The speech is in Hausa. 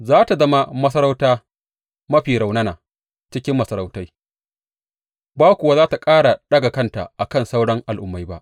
Za tă zama masarauta mafi rarrauna cikin masarautai, ba kuwa za tă ƙara ɗaga kanta a kan sauran al’ummai ba.